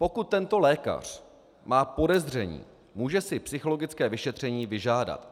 Pokud tento lékař má podezření, může si psychologické vyšetření vyžádat.